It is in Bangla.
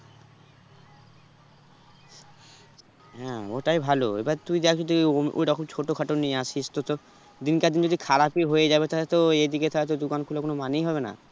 হ্যাঁ ওটাই ভালো এবার তুই দেখ যদি ওম~ওই রকম ছোট খাটো নিয়ে আসিস তো তোর দিন কার দিন খারাপই হয়ে যাবে তাহলে তো এদিকে তাহলে তো দোকান খোলার কোনো মানেই হবে না